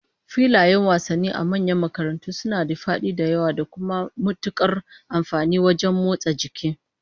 Filayen wasannin a manyan makarantu suna da fadi da yawa, da kuma matukar amfani wajen motsa jini